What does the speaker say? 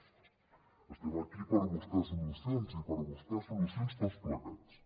estem aquí per buscar solucions i per buscar solucions i per buscar solucions tots plegats